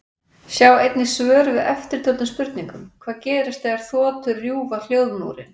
Sjá einnig svör við eftirtöldum spurningum: Hvað gerist þegar þotur rjúfa hljóðmúrinn?